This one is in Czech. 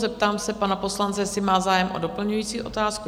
Zeptám se pana poslance, jestli má zájem o doplňující otázku?